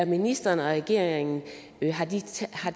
ministeren og regeringen